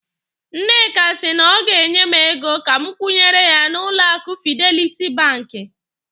Nneka si na ọ ga-enye m ego ka m kwụnyere ya n'ụlọ akụ Fideliti banki.